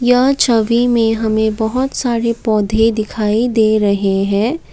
यह छवि में हमें बहोत सारे पौधे दिखाई दे रहे हैं।